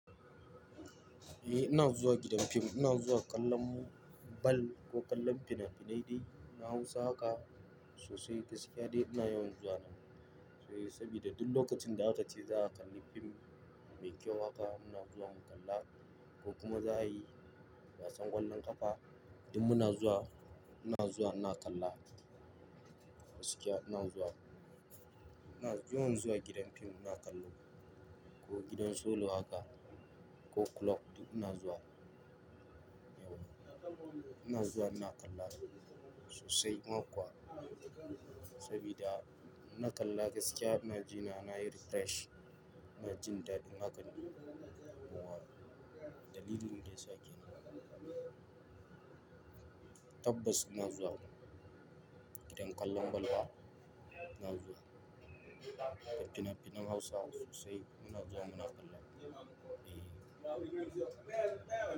Eh, ina zuwa gidan fim, ina zuwa kallon bal ko kallon fina-finai dai. Na Hausa haka sosai, gaskiya dai ina yawan zuwa nan. Eh sabida duk lokacin da a kace za a kalli fim mai kyau haka, ina zuwa in kalla. Ko kuma za a yi gasan ƙwallon ƙafa, duk muna zuwa, muna zuwa muna kalla. Gaskiya ina zuwa, ina yawan zuwa gidan fim muna kallo ko gidan solo haka ko club duk ina zuwa yau. Ina zuwa ina kalla sosai ma kuwa. Sabida inna kalla gaskiya ina jina, nayi refresh, ina jin daɗin hakan. Muhal. Dalilin daya sa kenan. Tabbas ina zuwa, gidan kallon bal wa ina zuwa. Fina finan Hausa sosai muna zuwa muna kalla. Eh.